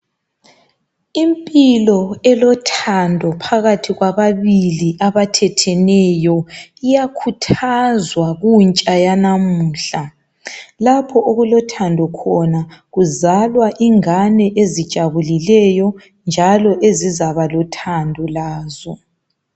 Impilo elothando phakathi kwababili abathetheneyo iyakhuthazwa kuntsha yanamuhla. Lapho okulothando khona kuzalwa ingane ezijabulileyo njalo ezizaba lothando lazo.